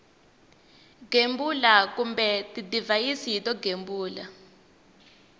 gembula kumbe tidivhayisi to gembula